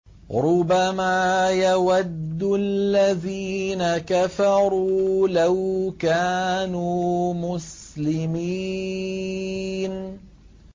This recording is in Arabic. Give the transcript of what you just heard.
رُّبَمَا يَوَدُّ الَّذِينَ كَفَرُوا لَوْ كَانُوا مُسْلِمِينَ